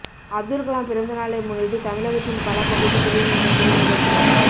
அப்துல்கலாம் பிறந்த நாளை முன்னிட்டு தமிழகத்தின் பல பகுதிகளில் நடைபெறும் நிகழ்ச்சிகள்